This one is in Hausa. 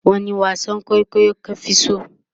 wani wasan kwaikwayo ka Fi so?